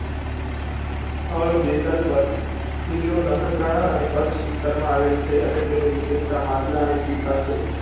સ્થળ બેટલપર જીલો નખતરાલા અને કચ્છ વિસ્તાર માં આવેલ છે અને તેની વિશિસ્ટતા માટલાં અને સિકા છે.